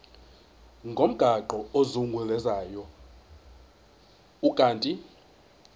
ngomgaqo ozungulezayo ukanti